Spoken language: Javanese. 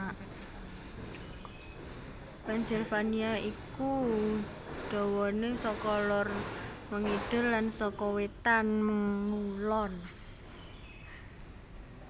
Pennsylvania iku dawané saka lor mangidul lan saka wétan mangulon